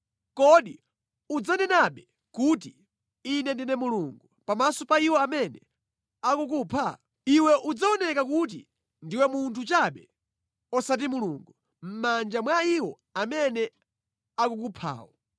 Kodi udzanenabe kuti, ‘Ine ndine mulungu,’ pamaso pa iwo amene akukupha? Iwe udzaoneka kuti ndiwe munthu chabe, osati mulungu, mʼmanja mwa iwo amene akukuphawo.